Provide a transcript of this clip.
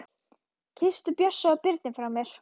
Kysstu Bjössa og Birnu frá mér.